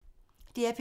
DR P3